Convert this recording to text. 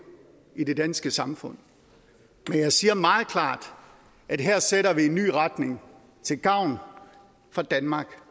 i det danske samfund men jeg siger meget klart at her sætter vi en ny retning til gavn for danmark